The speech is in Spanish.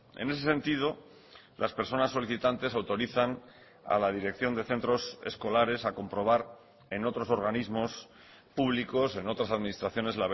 en ese sentido las personas solicitantes autorizan a la dirección de centros escolares a comprobar en otros organismos públicos en otras administraciones